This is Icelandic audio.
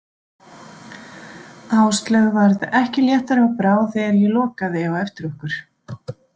Áslaug varð ekki léttari á brá þegar ég lokaði á eftir okkur.